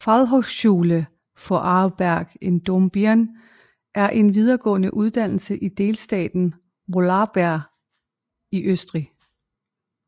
Fachhochschule Vorarlberg i Dornbirn er en videregående uddannelse i delstaten Vorarlberg i Østrig